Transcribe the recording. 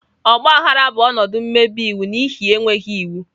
Ogba aghara bụ ọnọdụ mmebi iwu n'ihi enweghị iwu.